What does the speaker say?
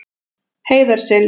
Heiðarseli